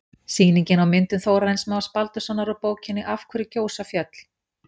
Sýningin á myndum Þórarins Más Baldurssonar úr bókinni Af hverju gjósa fjöll?